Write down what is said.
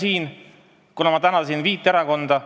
Ma juba tänasin viit erakonda.